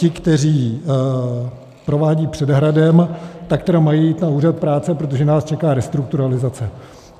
Ti, kteří provádí před hradem, tak tedy mají jít na úřad práce, protože nás čeká restrukturalizace.